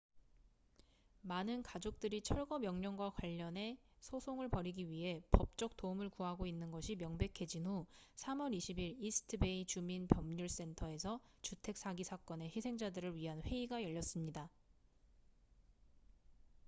많은 가족들이 철거 명령과 관련해 소송을 벌이기 위해 법적 도움을 구하고 있는 것이 명백해진 후 3월 20일 이스트 베이 주민 법률 센터에서 주택 사기 사건의 희생자들을 위한 회의가 열렸습니다